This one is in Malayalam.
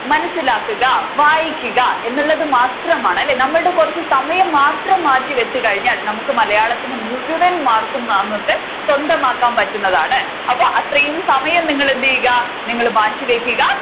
മനസിലാക്കുക വായിക്കുക എന്നുള്ളത് മാത്രമാണ് അല്ലെ നമ്മളുടെ കുറച്ചു സമയം മാത്രം മാറ്റി വെച്ച് കഴിഞ്ഞാൽ നമ്മുക്ക് മലയാളത്തിൽ മുഴവൻ മാർക്കും നമ്മുക്ക് സ്വന്തമാക്കാൻ പറ്റുന്നതാണ് അപ്പോൾ അത്രയും സമയം നിങ്ങൾ എന്ത് ചെയ്യുക നിങ്ങൾ മാറ്റിവെക്കുക